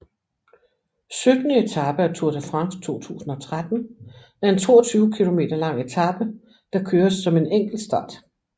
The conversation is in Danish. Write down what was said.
Syttende etape af Tour de France 2013 er en 32 km lang etape der køres som en enkeltstart